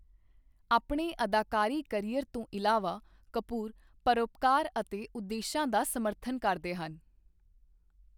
ਆਪਣੇ ਅਦਾਕਾਰੀ ਕਰੀਅਰ ਤੋਂ ਇਲਾਵਾ, ਕਪੂਰ ਪਰਉਪਕਾਰ ਅਤੇ ਉਦੇਸ਼ਾਂ ਦਾ ਸਮਰਥਨ ਕਰਦੇ ਹਨ।